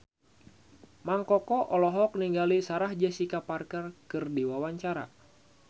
Mang Koko olohok ningali Sarah Jessica Parker keur diwawancara